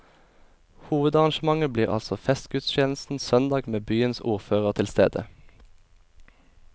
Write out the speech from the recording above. Hovedarrangementet blir altså festgudstjenesten søndag med byens ordfører til stede.